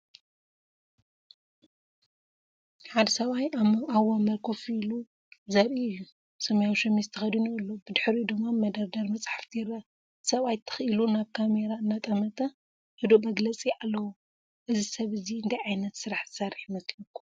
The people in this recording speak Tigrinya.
ሓደ ሰብኣይ ኣብ መንበር ኮፍ ኢሉ ዘርኢ እዩ። ሰማያዊ ሸሚዝ ተኸዲኑ ኣሎ፡ ብድሕሪኡ ድማ መደርደሪ መጻሕፍቲ ይርአ። እቲ ሰብኣይ ትኽ ኢሉ ናብ ካሜራ እናጠመተ ህዱእ መግለጺ ኣለዎ። እዚ ሰብ እዚ እንታይ ዓይነት ስራሕ ዝሰርሕ ይመስለካ?